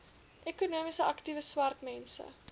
ekonomies aktiewe swartmense